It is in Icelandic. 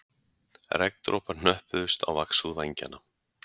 Regndropar hnöppuðust á vaxhúð vængjanna